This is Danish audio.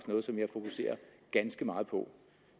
noget som jeg fokuserer ganske meget på